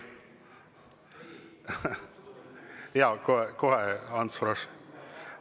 Jaa, kohe, Ants Frosch!